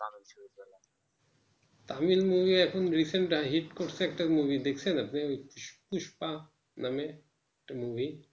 Tamil movie এখন recenthit করেছে একটা movie দেখেন না আপনি পুষ্পা নামে একটা movie